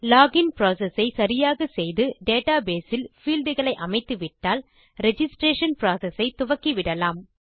login process ஐ சரியாக செய்து டேட்டாபேஸ் இல் பீல்ட் களை அமைத்துவிட்டால் ரிஜிஸ்ட்ரேஷன் புரோசெஸ் ஐ துவக்கிவிடலாம்